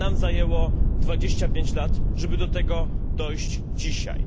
Nam zajęło 25 lat, żeby do tego dojść dzisiaj.